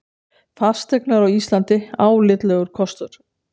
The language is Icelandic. Fasteignir á Íslandi álitlegur kostur